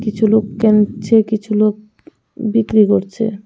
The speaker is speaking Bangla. কিছু লোক কেনছে কিছু লোক বিক্রি করছে.